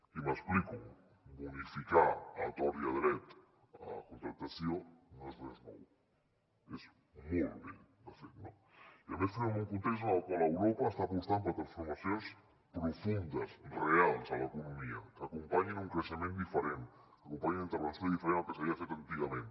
i m’explico bo·nificar a tort i a dret la contractació no és res nou és molt vell de fet no i a més fer·ho en un context en el qual europa està apostant per transformacions profundes reals en l’economia que acompanyin un creixement diferent que acompanyin una intervenció diferent al que s’havia fet antigament